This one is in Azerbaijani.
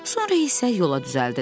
Sonra isə yola düzəldilər.